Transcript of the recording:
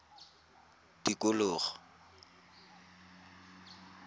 tikologo